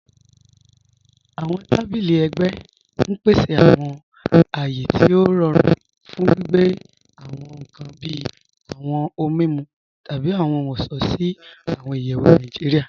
Awọn tàbílì ègbẹ n pèsè awọn àyé tí o rọ̀rùn fún gbìgbẹ̀ awọn ọhun kàn bí awọn ọhun mimu tabi awọn ọṣọ̀ sí awọn ìyẹwu Nàìjíríà.